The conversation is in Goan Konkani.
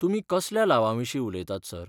तुमी कसल्या लावांविशीं उलयतात, सर?